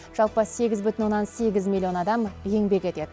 жалпы сегіз бүтін оннан сегіз миллион адам еңбек етеді